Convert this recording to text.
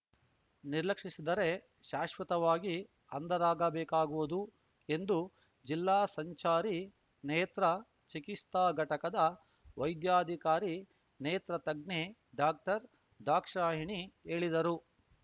ನಿರ್ಲಕ್ಷಿಸಿದರೆ ಶಾಶ್ವತವಾಗಿ ಅಂಧರಾಗಬೇಕಾಗುವುದು ಎಂದು ಜಿಲ್ಲಾ ಸಂಚಾರಿ ನೇತ್ರಾ ಚಿಕಿಸ್ತಾ ಘಟಕದ ವೈದ್ಯಾಧಿಕಾರಿ ನೇತ್ರ ತಜ್ಞೆ ಡಾಕ್ಟರ್ ದಾಕ್ಷಾಯಣಿ ಹೇಳಿದರು